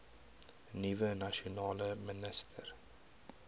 nuwe nasionale minister